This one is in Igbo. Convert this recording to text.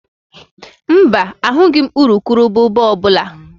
Mba, ahụghị m urukurubụba ọ bụla